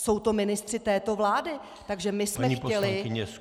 Jsou to ministři této vlády, takže my jsme chtěli -